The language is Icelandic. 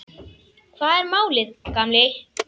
Hvað er málið, gamli?